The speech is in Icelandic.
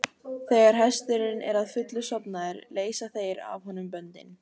Þegar hesturinn er að fullu sofnaður leysa þeir af honum böndin.